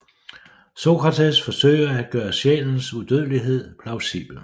Sokrates forsøger at gøre sjælens udødelighed plausibel